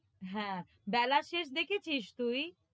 হ্যাঁ, বেলা শেষ দেখেছিস তুই?